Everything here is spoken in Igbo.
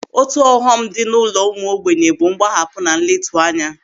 Otu ọghọm dị n'ụlọ ụmụ ogbenye bụ mgbahapụ na nletu anya.